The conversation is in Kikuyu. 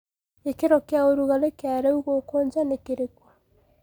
gĩkĩro kĩaũrũgarĩ kia riu guku ja ni kirikũ